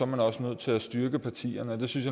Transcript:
man også nødt til at styrke partierne det synes